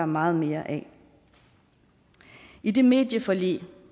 meget mere af i det medieforlig